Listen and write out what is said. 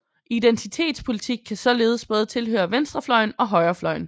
Identitetspolitik kan således både tilhøre venstrefløjen og højrefløjen